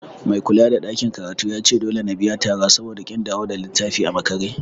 Mai kulada ɗakin karatun yace dole na biya tara saboda ƙin dawo da littafi a makare.